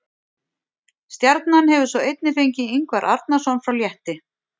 Stjarnan hefur svo einnig fengið Ingvar Arnarson frá Létti.